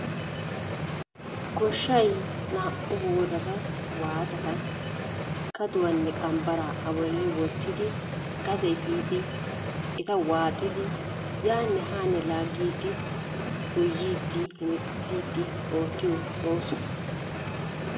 Goshshay naa"u boorata waaxxata kaduwanne qambbaraa a bolli wottidi gade efiidi eta waaxxidi yaane haanne laagiidi goyyiidi hemettissiidi oottiyo ooso.